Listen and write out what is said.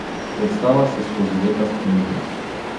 Predstava se skozi leta spreminja.